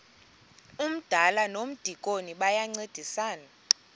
umdala nomdikoni bayancedisana